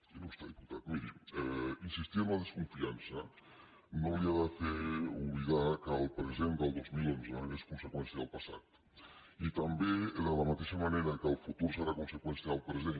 il·lustre diputat miri insistir en la desconfiança no li ha de fer oblidar que el present del dos mil onze és conseqüència del passat i també de la mateixa manera que el futur serà conseqüència del present